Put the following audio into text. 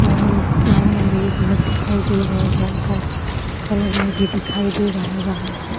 और उस पार मेरा ही घर दिखाई दे रहा है जो हल्का-हल्का कलर में भी दिखाई दे रहा है वहां पे।